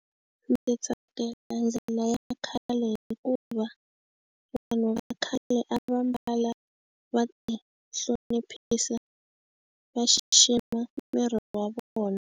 Ndzi tsakela ndlela ya khale hikuva vanhu va khale a va mbala va tihloniphisa va xixima miri wa vona.